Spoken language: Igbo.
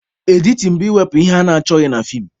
Editin bụ ịwepụ ihe achọghị na feem